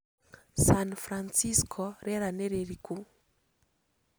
San Francisco rĩera nĩ rĩrĩkũ